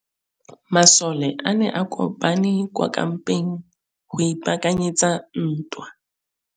Masole a ne a kopane kwa kampeng go ipaakanyetsa ntwa.